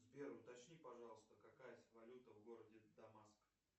сбер уточни пожалуйста какая валюта в городе дамаск